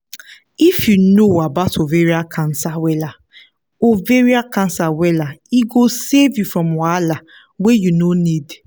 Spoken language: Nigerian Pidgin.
if you know about ovarian cancer wella ovarian cancer wella e go save you from wahala wey you no need